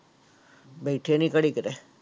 ਬੈਠੇ ਨੀ ਘੜੀ ਕਿਤੇ।